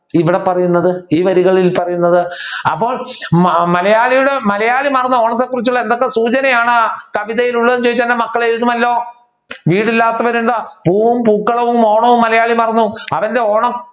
ഇവിടെ പറയുന്നത് ഈ വരികളിൽ പറയുന്നത്. അപ്പൊ മലയാളിയുടെ മലയാളി മറന്ന ഓണത്തെ കുറിച്ചുള്ള എന്തൊക്കെ സൂചനയാണ് കവിതയിൽ ഉള്ളത് എന്ന് ചോദിച്ചാൽ മക്കൾ എഴുതുമല്ലോ? വീടില്ലാത്തവനുണ്ട് പൂവും പൂക്കളവും ഓണവും മലയാളി മറന്നു. അവരുടെ ഓണം